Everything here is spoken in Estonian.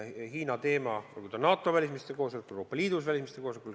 Hiina teemat arutatakse NATO välisministrite koosolekutel ja Euroopa Liidu välisministrite koosolekutel.